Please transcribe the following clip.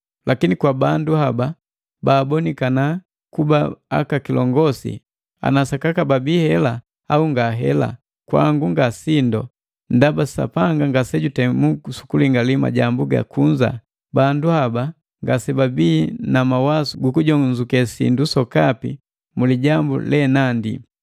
Lakini kwa bandu haba baabonikana kuba aka kilongosi, ana sakaka babii hela au ngahela, kwangu nga sindu, ndaba Sapanga ngasejutemu sukulingali majambu ga kunza, bandu haba ngasebabii na mawasu gukujonzuke sindu sokapi mu lijambu lenandi.